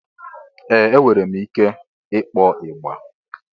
Ee! Enwere m ike ịkpọ ịgbà.